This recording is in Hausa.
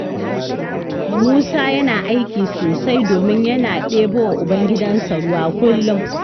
Musa yana aiki sosai domin yana ɗebowa ubangidansa ruwa kullum.